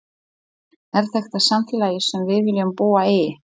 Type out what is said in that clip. Er þetta samfélagið sem við viljum búa í?